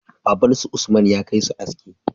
Baban su usman ya kai su aski